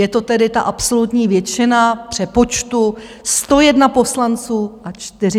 Je to tedy ta absolutní většina v přepočtu 101 poslanců a 41 senátorů.